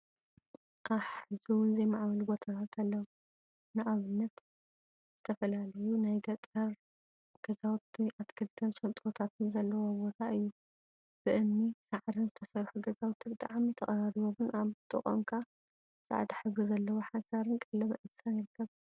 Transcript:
አሕ…! ሕዚውን ዘይማዕበሉ ቦታታት አለው፡፡ ንአብነት ዝተፈላለዩ ናይ ገጠር ገዛውቲን አትክልቲን ሽንጥሮታትን ዘለዎ ቦታ እዩ፡፡ ብእምኒን ሳዕሪን ዝተሰርሑ ገዛውቲ ብጣዕሚ ተቀራሪቦምን አብ ጥቅኦም ከዓ ፃዕዳ ሕብሪ ዘለዎ ሓሰር/ቀለበ እንስሳ/ ይርከብ፡፡